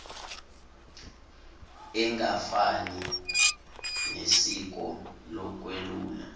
engafani nesiko lokwelula